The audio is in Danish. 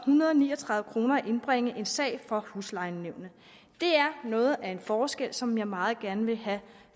hundrede og ni og tredive kroner at indbringe en sag for huslejenævnene det er noget af en forskel som jeg meget gerne vil have